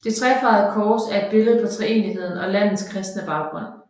Det trefarvede kors er et billede på treenigheden og landets kristne baggrund